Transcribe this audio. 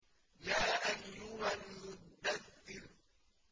يَا أَيُّهَا الْمُدَّثِّرُ